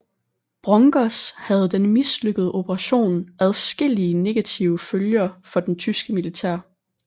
Brongers havde denne mislykkede operation adskillige negative følger for det tyske militær